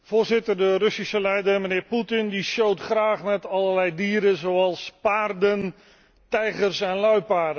De Russische leider, de heer Putin, showt graag met allerlei dieren, zoals paarden, tijgers en luipaarden.